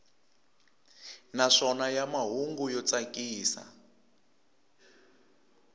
naswona ya mahungu yo tsakisa